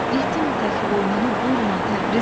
Yetim tək boynunu burma, Təbrizim!